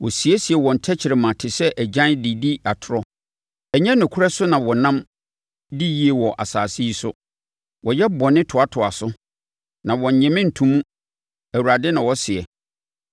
“Wɔsiesie wɔn tɛkrɛma te sɛ agyan de di atorɔ; Ɛnyɛ nokorɛ so na wɔnam di yie wɔ asase yi so. Wɔyɛ bɔne toatoa so; na wɔnnye me nto mu,” Awurade na ɔseɛ.